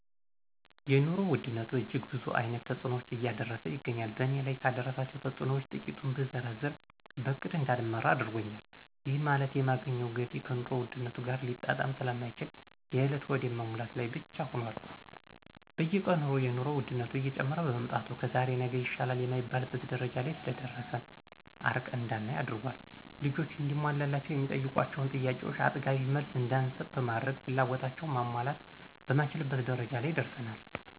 የኑሮ ውድነት እጅግ ብዙ አይነት ተጽኖዎችን እያደረሰ ይገኛል በእኔ ላይ ካደረሳቸው ተጽኖዎች ትቂቱን ብዘረዝር በእቅድ እዳልመራ አድርጎኛል ይህ ማለት የማገኘው ገቢ ከኑሮ ውድነት ጋር ሊጣጣም ስለማይችል የእለት ሆድን መሙላት ላይ ብቻ ሁኖል። በየቀኑ የኑሮ ወድነት እየጨመረ በመምጣቱ ከዛሬ ነገ ይሻላል የማይባልበት ደረጃ ስለደረሰ አርቀን እዳናይ አድርጓል። ልጆች እንዲሟላላቸው የሚጠይቋቸውን ጥያቄዎቾ አጥጋቢ መልስ እዳንሰጥ በማድረግ ፍላጎታቸውን ማሟላት የማንችልበት ደረጃ ላይ ደርሰናል።